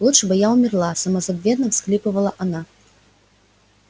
лучше бы я умерла самозабвенно всхлипывала она